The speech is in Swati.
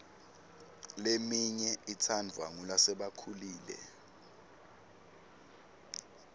leminye itsandvwa ngulasebakhulile